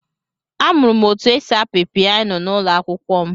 Amụrụ m otu esi apị piyano n'ụlọ akwụkwọ m.